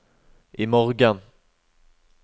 imorgen